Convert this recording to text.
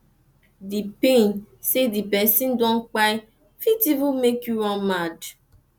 d pain sey di pesin don kpai fit even make yu run mad